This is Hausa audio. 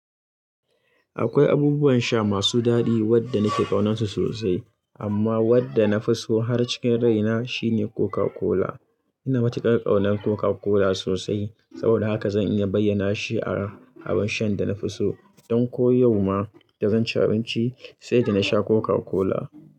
Akwai abubuwan sha masu daɗi wadda nake ƙaunansu sosai. Amma wadda nafi so har cikin raina shine Coca-Cola. Ina matuƙar ƙaunar Coca-Cola sosai, saboda haka zan iya bayyana shi a abar shan da na fi so. Don ko yau ma da zan ci abinci, sai da nasha Coca-Cola.